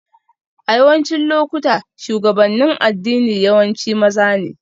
A yawancin lokuta, shugabannin addini yawanci maza ne